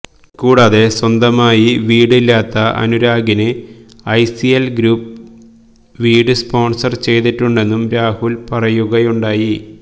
കൂടാതെ സ്വന്തമായി വീട് ഇല്ലാത്ത അനുരാഗിന് ഐസിഎൽ ഗ്രൂപ്പ് വീട് സ്പോൺസർ ചെയ്തിട്ടുണ്ടെന്നും രാഹുൽ പറയുകയുണ്ടായി